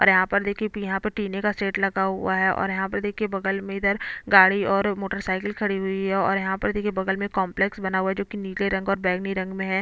और यहाँ पर देखिये अभी यहाँ पे टीने का शेड लगा हुआ है और यहाँ पे देखिये बगल में इधर गाड़ी और मोटरसाइकिल खड़ी हुई है और यहाँ पर देखिये बगल में कॉम्प्लेक्स बना हुआ है जो कि नीले रंग और बैगनी रंग में है।